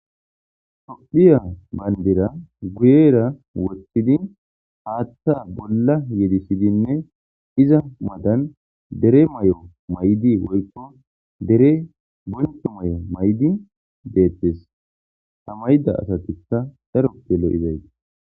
Tophphiya banidira guyera woththidi haththa bolla yedisidne izza matani dere mayo mayidinne woyikko dere bonchcho mayo mayida detees.haa mayida asatikka daroppe lo'etes.